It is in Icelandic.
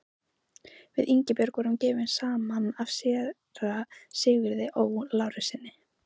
Við Ingibjörg voru gefin saman af séra Sigurði Ó. Lárussyni.